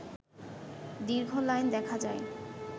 দীর্ঘ লাইন দেখা যায়